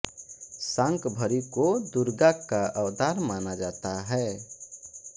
शाकंभरी को दुर्गा का अवतार माना जाता है